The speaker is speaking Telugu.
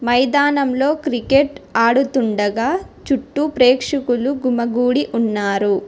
మైదానంలో క్రికెట్ ఆడుతుండగా చుట్టూ ప్రేక్షకులు గుమ్మగుడి ఉన్నారు.